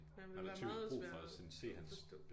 Han ville være meget svær at forstå